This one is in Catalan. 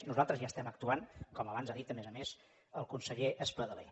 nosaltres ja estem actuant com abans ha dit a més a més el conseller espadaler